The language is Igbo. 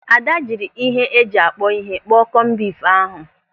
Ada jiri ihe eji akpọ ihe kpọọ kọmbif ahụ.